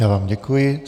Já vám děkuji.